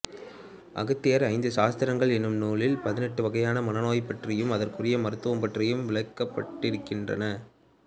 அகத்தியர் ஐந்து சாஸ்திரங்கள் என்னும் நூலில் பதினெட்டு வகையான மனநோய் பற்றியும் அதற்குரிய மருத்துவம் பற்றியும் விளக்கப் பட்டிருக்கின்றன